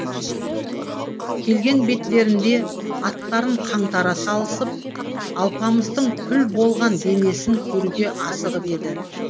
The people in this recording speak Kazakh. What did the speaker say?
келген беттерінде аттарын қаңтара салысып алпамыстың күл болған денесін көруге асығып еді